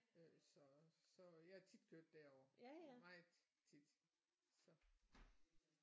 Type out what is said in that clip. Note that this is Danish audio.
Øh så så jeg har tit kørt derover meget tit så